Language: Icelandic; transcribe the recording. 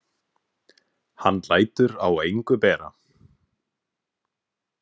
Hann lætur á engu bera.